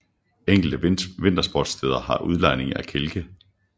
Enkelte vintersportssteder har udlejning af kælke